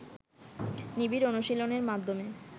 নিবিড় অনুশীলনের মাধ্যমে